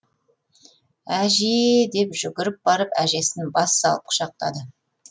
әжеееееее деп жүгіріп барып әжесін бас салып құшақтады